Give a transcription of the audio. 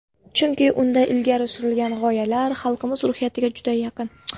Chunki unda ilgari surilgan g‘oyalar xalqimiz ruhiyatiga juda yaqin.